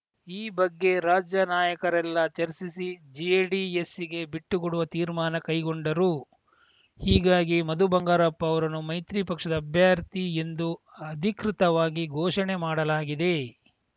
ಈ ಬಗ್ಗೆ ರಾಜ್ಯ ನಾಯಕರೆಲ್ಲಾ ಚರ್ಚಿಸಿ ಜೆಡಿಎಸ್‌ಗೆ ಬಿಟ್ಟುಕೊಡುವ ತೀರ್ಮಾನ ಕೈಗೊಂಡರು ಹೀಗಾಗಿ ಮಧು ಬಂಗಾರಪ್ಪ ಅವರನ್ನು ಮೈತ್ರಿ ಪಕ್ಷದ ಅಭ್ಯರ್ಥಿ ಎಂದು ಅಧಿಕೃತವಾಗಿ ಘೋಷಣೆ ಮಾಡಲಾಗಿದೆ